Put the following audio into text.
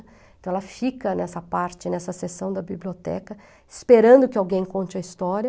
Então, ela fica nessa parte, nessa sessão da biblioteca, esperando que alguém conte a história.